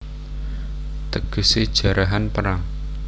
Tegesé Jarahan Perang